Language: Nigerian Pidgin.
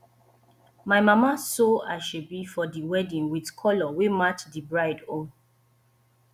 my mama sew asoebi for di wedding wit colour wey match di bride own